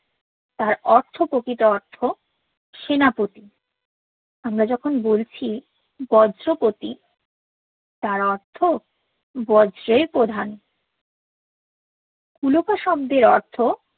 তার অর্থ প্রকৃতি অর্থ সেনাপতি আমরা যখন বলছি বজ্রপতি তার অর্থ বজ্রর প্রধান কুলক শব্দর অর্থ